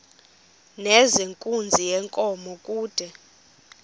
nezenkunzi yenkomo kude